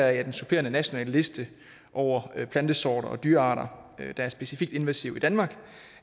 at den supplerende nationale liste over plantesorter og dyrearter der er specifikt invasive i danmark